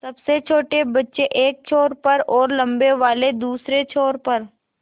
सबसे छोटे बच्चे एक छोर पर और लम्बे वाले दूसरे छोर पर